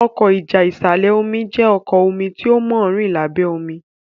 Ọkọ́ ìjà ìsàlẹ̀-omi jé ọkọ́ omí tó món rìn lábé omí.